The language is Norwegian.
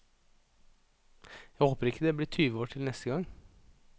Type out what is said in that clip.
Jeg håper ikke det blir tyve år til neste gang.